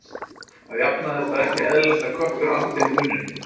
að jafnaði er það ekki eðlilegt að köttur andi með munninum